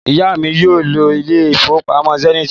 Ìyá mi yóò lọ ilé ìfowópamọ́ Zenith